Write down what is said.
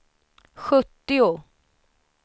sjuttio